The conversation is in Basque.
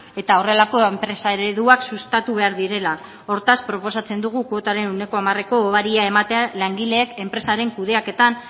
eta horrelako enpresa ereduak sustatu behar direla hortaz proposatzen dugu kuotaren ehuneko hamareko obaria ematea langileek enpresaren kudeaketan